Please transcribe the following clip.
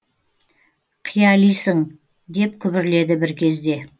қиялисың деп күбірледі бір кезде